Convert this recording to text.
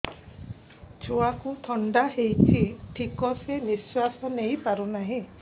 ଛୁଆକୁ ଥଣ୍ଡା ହେଇଛି ଠିକ ସେ ନିଶ୍ୱାସ ନେଇ ପାରୁ ନାହିଁ